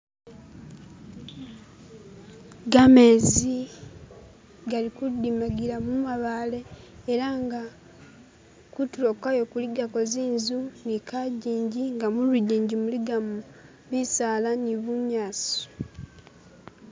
Gamezi gali ku dimagila mu mabaale ela nga kutulo kwayo kuli gako zinzu ni kajinji nga mu bijinji muligamo bisala ni bunyasi.